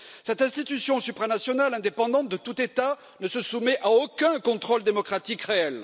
Cette institution supranationale, indépendante de tout État, ne se soumet à aucun contrôle démocratique réel.